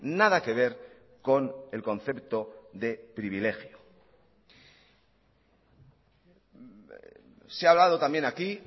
nada que ver con el concepto de privilegio se ha hablado también aquí